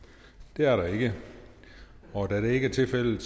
der er der ikke og da det ikke er tilfældet